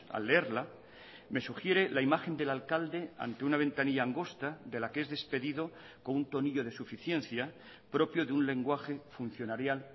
al leerla me sugiere la imagen del alcalde ante una ventanilla angosta de la que es despedido con un tonillo de suficiencia propio de un lenguaje funcionarial